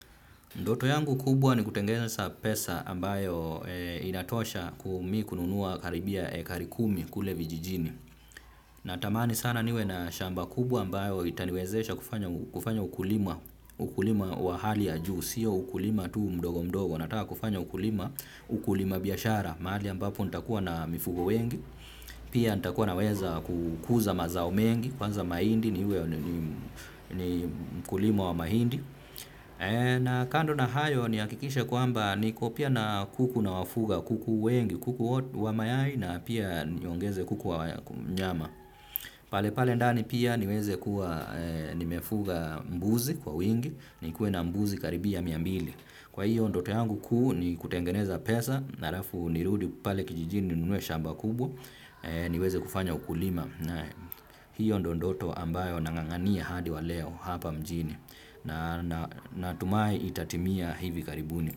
Ndoto yangu kubwa ni kutengeneza pesa ambayo inatosha mimi kununua karibia hekari kumi kule vijijini. Natamani sana niwe na shamba kubwa ambayo itaniwezesha kufanya ukulima wa hali ya juu. Sio ukulima tu mdogo mdogo, nataka kufanya ukulima ukulima biashara mahali ambapo nitakuwa na mifugo wengi. Pia nitakuwa naweza kukuza mazao mengi kwanza mahindi niwe ni mkulima wa mahindi. Na kando na hayo nihakikishe kwamba niko pia na kuku nawafuga, kuku wengi. Kuku wa mayai na pia niongeze kuku wa nyama. Pale pale ndani pia niweze kuwa nimefuga mbuzi kwa wingi nikuwe na mbuzi karibia mia mbili. Kwa hiyo ndoto yangu kuu ni kutengeneza pesa na halafu nirudi pale kijijini nunue shamba kubwa niweze kufanya ukulima na hiyo ndio ndoto ambayo nang'ang'ania hadi wa leo hapa mjini natumai itatimia hivi karibuni.